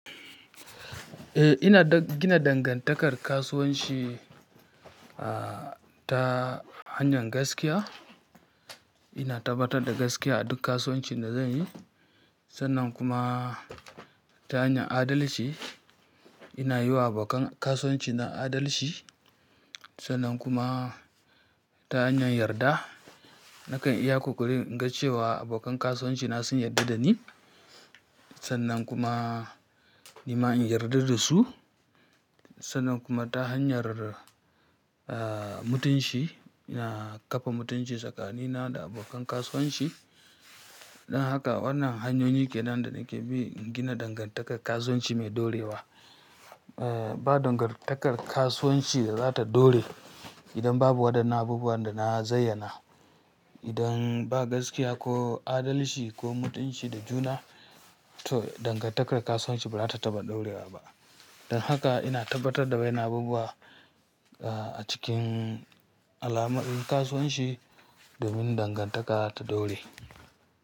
Eh, ina gina dangantakar kasuwanci, ah, ta hanyar gaskiya. Ina tabbatar da gaskiya a duk kasuwanci da zanyi. Sannan kuma ta hanyar adalci, ina yiwa abokan kasuwanci na adalci. Sannan kuma ta hanyar yarda, nakan iya ƙoƙari in ga cewa abokan kasuwanci na sun yarda da ni. Sannan kuma ni ma in yarda da su. Sannan kuma ta hanyar, ah, mutunci, ina kafa mutunci tsakanina da abokan kasuwanci. Don haka wannan hanyoyi kenan da nake bi in gina dangantakar kasuwanci mai ɗorewa. Eh, ba dangantakar kasuwanci da za ta dore idan babu waɗannan abubuwan da na zayyana. Idan ba gaskiya ko adalci ko mutunci da juna, to dangantakar kasuwanci ba za ta taɓa ɗorewa ba. Don haka ina tabbatar da waɗannan abubuwa, ah, a cikin alamar kasuwanci domin dangantaka ta dore.